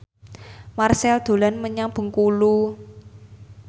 Marchell dolan menyang Bengkulu